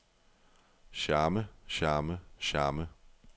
charme charme charme